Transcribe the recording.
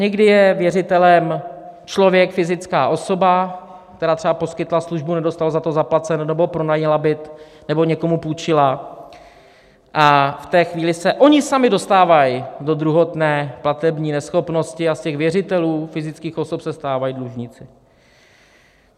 Někdy je věřitelem člověk, fyzická osoba, která třeba poskytla službu, nedostala za to zaplaceno, nebo pronajala byt, nebo někomu půjčila, a v té chvíle se oni sami dostávají do druhotné platební neschopnosti a z těch věřitelů, fyzických osob, se stávají dlužníci.